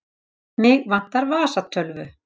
Mig vantar vasatölvu.